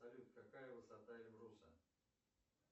салют какая высота эльбруса